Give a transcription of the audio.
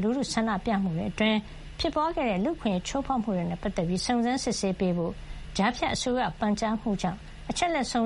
လူထု ဆန္ဒပြမှုတွေအတွင်း ဖြစ်ပွါးခဲ့တဲ့ လူ့အခွင့်ရေး ချိုးဖေါက်မှုတွေ နဲ့ ပတ်သက်ပြီး စုံစမ်းစစ်ဆေးပေးဖို့ ကြားဖြတ်အစိုးရရဲ့ ပန်ကြားမှုကြောင့် အချက်လက်စုံ